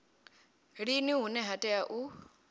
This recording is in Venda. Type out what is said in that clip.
lini hune ha tea u